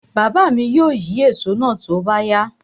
Baba mi ó yín èso náà tó bá yá.